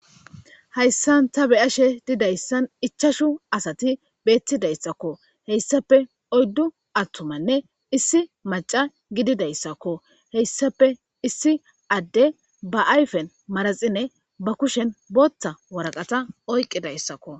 Hayssan ta be ashe didayssan ichashu asati beettidayssakko heyssape oyddu attumanne issi maca gididayssakko heyssape issi adde ba ayfen maraxine ba kushen bootta waraqata oyqqi dayssakko